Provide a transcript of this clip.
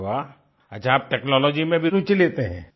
अरे वाह अच्छा आप टेक्नोलॉजी में भी रूचि लेते हैं